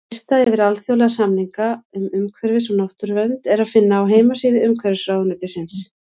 Lista yfir alþjóðlega samninga um umhverfis- og náttúruvernd er að finna á heimasíðu Umhverfisráðuneytisins.